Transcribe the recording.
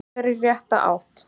Hún er í rétta átt.